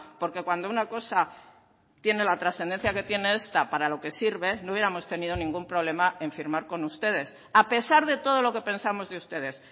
porque cuando una cosa tiene la trascendencia que tiene esta para lo que sirve no hubiéramos tenido ningún problema en firmar con ustedes a pesar de todo lo que pensamos de ustedes